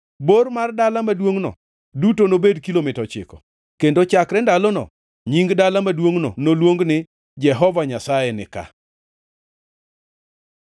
“Bor mar dala maduongʼno duto nobed kilomita ochiko. “Kendo chakre ndalono nying dala maduongʼno noluong ni: Jehova Nyasaye nika.”